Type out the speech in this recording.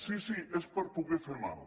sí sí és per poder fer mal